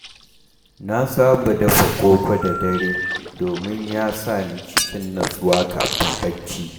Na saba dafa koko da dare domin ya sa ni cikin natsuwa kafin barci.